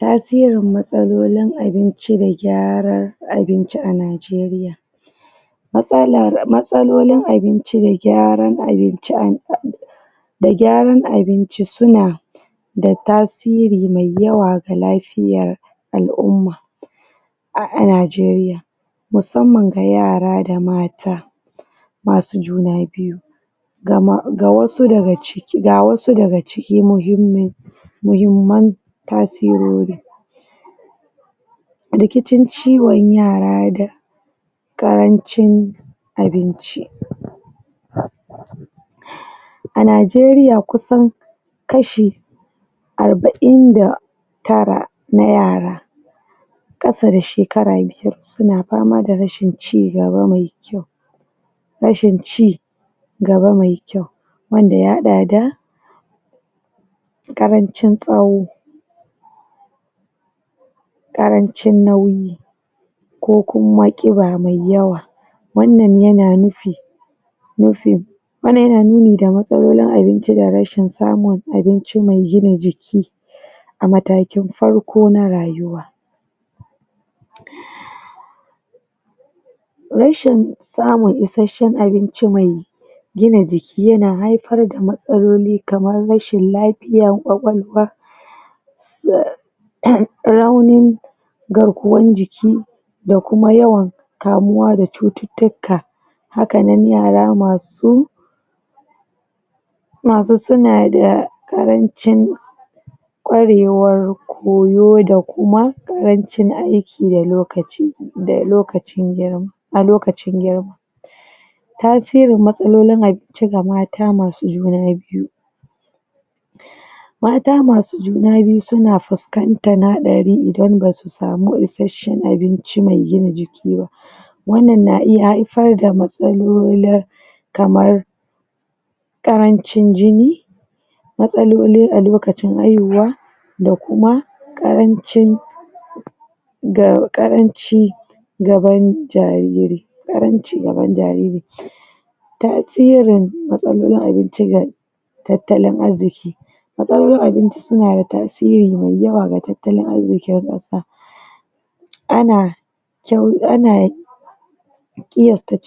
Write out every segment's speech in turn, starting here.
Tasirin matsalolin abinci da gyarar abinci a nijeriya matslar...matsalolin abincin da gyarar abinci a da gyaran abinci suna da tasiri mai yawa ga lafiyar al'umma a nijeriya, musamman ga yara da mata masu juna biyu ga wasu daga cikin muhimman tasirori rikicin ciwon yara da karancin abinci a nijeriya kusan kashi arba'in da tara na yara ƙasa da shekara biyar suna pama da rashin cigaba mai kyau rashin cigaba mai kayau wanda ya haɗa da karancin tsawo ƙarancin nauyi ko kuma ƙiba mai yawa, wannan yana nufi nufi, wannan yana nuni da matsalolin abinci da rashin samun abinci mai gina jiki a matakin farko na rayuwa rashin samun issashen abinci mai gina jiki yana haipar da matsaloli kamar rashin lapiyan ƙwaƙwalwa raunin garkuwan jiki da kuma yawan kamuwa da cututtuka, hakanan yara masu gasu suna da karancin ƙwarewar koyo da kuma karancin aiki da lokaci, a lokacin girma tasirin matsalolin abinci ga mata masu juna biyu mata masu juna biyu suna fuskantan haɗari idan basu samu issashen abinci mai gina jiki ba wannan na iya haifar da matsaloli kamar ƙarancin jini matsaloli a lokacin haihuwa da kuma ƙarancin da ƙaranci gaban jariri, karanci gaban jariri tasirin matsalolin abinci da tattalin arziki matsalolin abinci suna da tasiri mai yawa ga tattalin arzikin ƙasa ana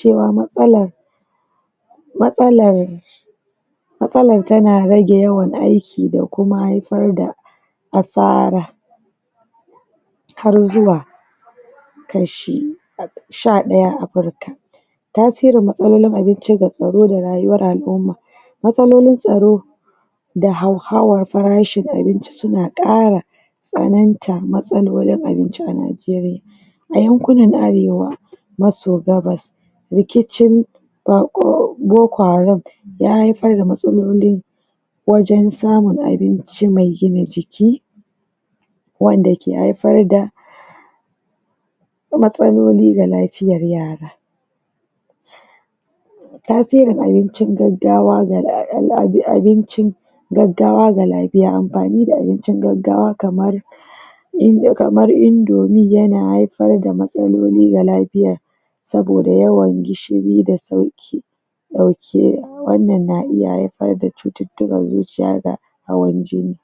um matsala matsalar matsalan tana rage yawan aiki da kuma haifar da asara har zuwa kashi sha ɗaya afrika tasirin matsalolin abinci da tsaro da rayuwar al'umma matsalolin tsaro da hauhawa na rashin abinci suna ƙara tsaninta matsalolin abinci a nijeriya a yankunnan arewa, maso gabas rikicin boko haram ya haifar da matsaloli wajen samun abinci mai gina jiki wanda ke haifar da matsaloli da lapiyar yara tasirin abincin gaggawa ga...abincin gaggawa ga lapiya, ampani da abincin gaggawa kamar kamar indomi yana haifar da matsaloli ga lapiya saboda yawan gishiri da sauki ɗauke, wannan na iya haifar da cututtukan zuciya da hawan jini.